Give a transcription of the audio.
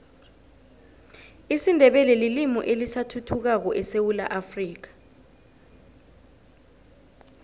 isindebele lilimi elisathuthukako esewula afrika